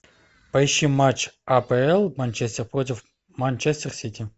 поищи матч апл манчестер против манчестер сити